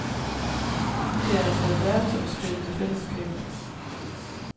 Det er altså et verdensomspændende fællesskab.